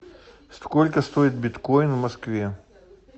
сколько стоит биткоин в москве